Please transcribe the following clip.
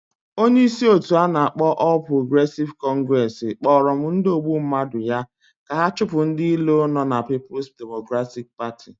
Onye isi otu anakpo All Progressive Congress Kporo m ndi ogbu mmadu ya ka ha chupu ndi ilo no na Peoples Democratic Party